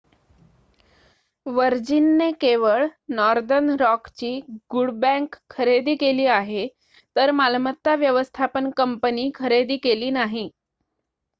वर्जिनने केवळ नॉर्दर्न रॉकची good bank' खरेदी केली आहे तर मालमत्ता व्यवस्थापन कंपनी खरेदी केली नाही